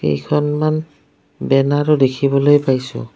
কেইখনমান বেনাৰো দেখিবলৈ পাইছোঁ।